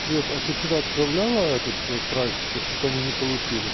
свет а ты сюда отправляла этот прайс а то что-то они не получили